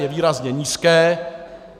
Je výrazně nízké.